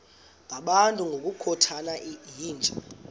ngabantu ngokukhothana yinja